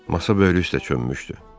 Masa böyrlüyü də çönmüşdü.